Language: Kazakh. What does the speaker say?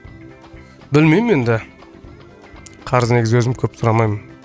білмеймін енді қарыз негізі өзім көп сұрамаймын